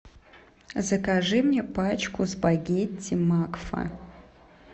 закажи мне пачку спагетти макфа